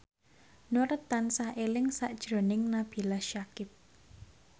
Nur tansah eling sakjroning Nabila Syakieb